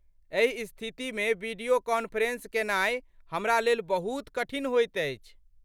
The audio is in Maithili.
एहि स्थितिमे वीडियो कॉन्फ्रेंस केनाई हमरा लेल बहुत कठिन होइत अछि।